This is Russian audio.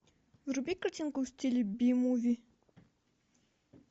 вруби картинку в стиле би муви